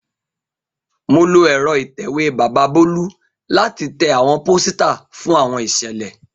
Mo lo ẹ́rọ ìtẹ̀wé bàbà Bolu lati tẹ awọn posita fun awọn iṣẹlẹ.